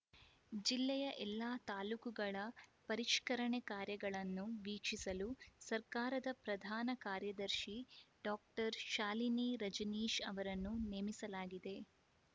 ಜಿಲ್ಲೆಯ ಎಲ್ಲಾ ತಾಲೂಕುಗಳ ಪರಿಷ್ಕರಣೆ ಕಾರ್ಯಗಳನ್ನು ವೀಕ್ಷಿಸಲು ಸರ್ಕಾರದ ಪ್ರಧಾನ ಕಾರ್ಯದರ್ಶಿ ಡಾಕ್ಟರ್ ಶಾಲಿನಿ ರಜನೀಶ್‌ ಅವರನ್ನು ನೇಮಿಸಲಾಗಿದೆ